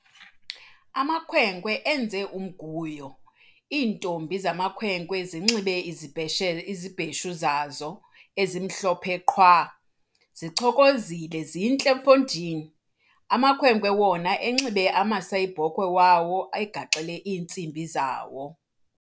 Amakhwenkwe enze umguyo, iintombi zamakhwenkwe zinxibe izibheshe izibheshelo zazo ezimhlophe qhwa, zichokozile zintle mfondini! amakhwenkwe wona enxibe amasayibhokhwe wawo egaxele iintsimbi zawo.